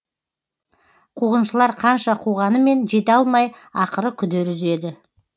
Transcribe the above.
қуғыншылар қанша қуғанымен жете алмай ақыры күдер үзеді